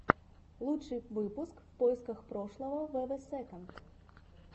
лучший выпуск в поисках прошлого вв сэконд